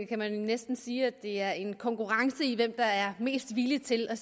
kan man næsten sige at det er en konkurrence i hvem der er mest villig til at